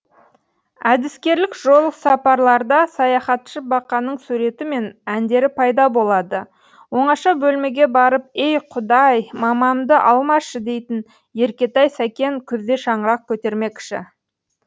әдіскерлік жолсапарларда саяхатшы бақаның суреті мен әндері пайда болады оңаша бөлмеге барып ей құдай мамамды алмашы дейтін еркетай сәкен күзде шаңырақ көтермекші